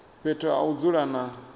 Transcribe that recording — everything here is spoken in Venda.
fhethu ha u dzula na